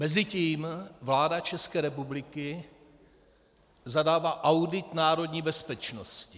Mezitím vláda České republiky zadává audit národní bezpečnosti.